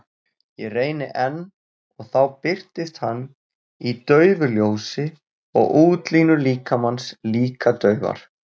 Ég reyni enn og þá birtist hann í daufu ljósi og útlínur líkamans líka daufar.